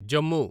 Jammu